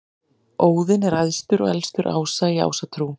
Óðinn er æðstur og elstur ása í Ásatrú.